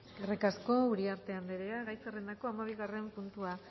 eskerrik asko uriarte anderea gai zerrendako hamabigarren puntua